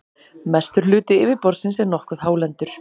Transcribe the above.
mestur hluti yfirborðsins er nokkuð hálendur